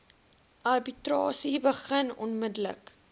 arbitrasie begin onmiddellik